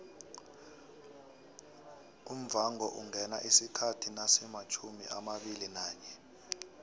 umvhangoungena isikhathi nasimatjhumiamabili nanye